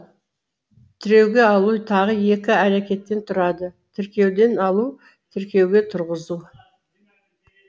тіреуге алу тағы екі әрекеттен тұрады тіркеуден алу тіркеуге тұрғызу